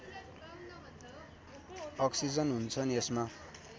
oxygen हुन्छन् यसमा